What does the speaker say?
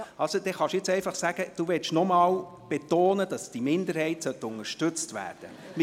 Also können Sie jetzt einfach sagen, dass Sie noch einmal betonen möchten, dass die Minderheit unterstützt werden sollte.